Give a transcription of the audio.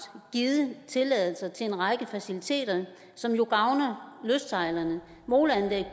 givet tilladelse til en række faciliteter som jo gavner lystsejlerne moleanlæg